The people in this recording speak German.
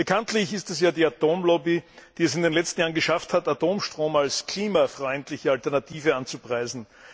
Bekanntlich ist es ja die Atomlobby, die es in den letzten Jahren geschafft hat, Atomstrom als klimafreundliche Alternative anzupreisen.